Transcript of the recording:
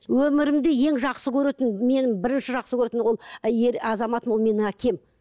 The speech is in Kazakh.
өмірімде ең жақсы көретін менің бірінші жақсы көретін ол әйел азаматының ол менің әкем